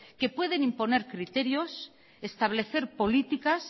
que pueden imponer criterios establecer políticas